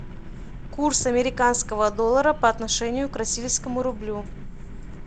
курс американского доллара по отношению к российскому рублю